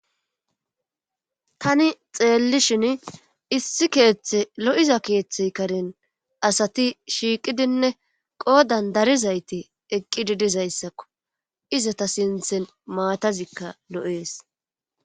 tani xeellishin issi keeththe lo7iza keeththey karen asati shiiqidinne qoodan darizayti eqqidi dizayssakko izata sinthen maatazikka lo7ees